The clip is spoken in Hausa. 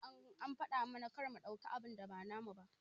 An faɗa mana kar mu ɗauka abun da ba namu ba.